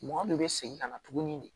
Mɔgɔ de bɛ segin ka na tuguni de